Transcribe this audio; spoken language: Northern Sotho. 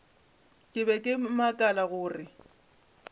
ke be ke makala gore